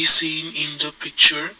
is seen in the picture.